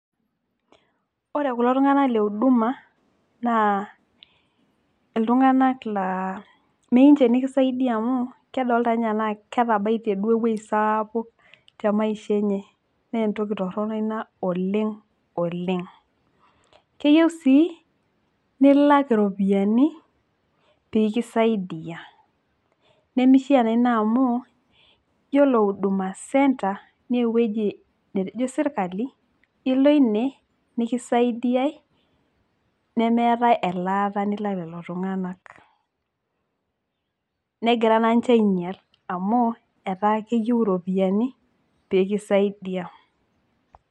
ore kulo tunganak le uduma, naa iltunganak laa meyieu ninche nikisaidia amu kedoolta ana ketabaitie duo ewueji sapuk te maisha enye. naa entoki toroni ina oleng oleng. keyieu sii nilak iropiyiani pee kisaidia, nemeisha naa ina amu, iyiolo huduma center naa eweuji netejo sirkali ilo ine nikisaidiae, nemeetae elaata nilak lelo tunganak. negira naa ninche aing'ial amu etaa keyieu iropiyiani pee kisaidia.